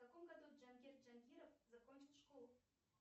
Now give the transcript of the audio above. в каком году джангир джангиров закончил школу